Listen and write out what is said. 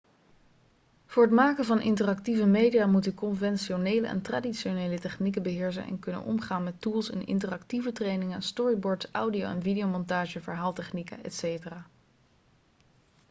voor het maken van interactieve media moet u conventionele en traditionele technieken beheersen en kunnen omgaan met tools in interactieve trainingen storyboards audio- en videomontage verhaaltechnieken etc.